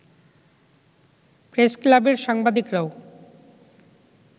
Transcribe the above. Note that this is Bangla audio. প্রেসক্লাবের সাংবাদিকরাও